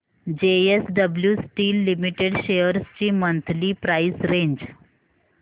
JSW steel limited shares ची monthly price range